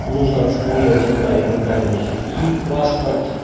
нужно отсканировать отправить нотариусу и паспорт